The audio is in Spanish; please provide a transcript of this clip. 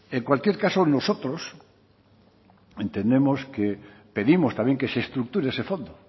en cualquier caso nosotros entendemos pedimos también que se estructure ese fondo